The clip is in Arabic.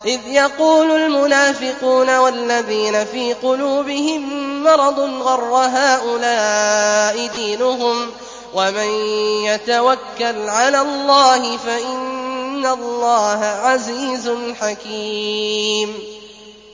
إِذْ يَقُولُ الْمُنَافِقُونَ وَالَّذِينَ فِي قُلُوبِهِم مَّرَضٌ غَرَّ هَٰؤُلَاءِ دِينُهُمْ ۗ وَمَن يَتَوَكَّلْ عَلَى اللَّهِ فَإِنَّ اللَّهَ عَزِيزٌ حَكِيمٌ